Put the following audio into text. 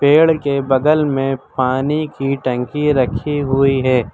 पेड़ के बगल में पानी की टंकी रखी हुई है।